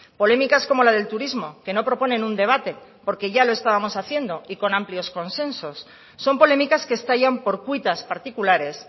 polémicas como la del turismo que no proponen un debate porque ya lo estábamos haciendo y con amplios consensos son polémicas que estallan por cuitas particulares